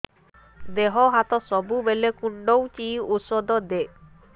ଦିହ ହାତ ସବୁବେଳେ କୁଣ୍ଡୁଚି ଉଷ୍ଧ ଦେ